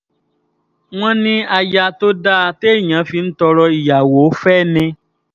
wọ́n ní aya tó dáa téèyàn fi ń tọrọ ìyàwó fẹ́ ni